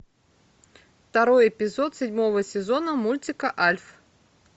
второй эпизод седьмого сезона мультика альф